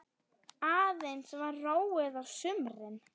Aðeins var róið á sumrin.